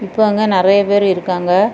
ப்ப அங்க நரய பேர் இருக்காங்க.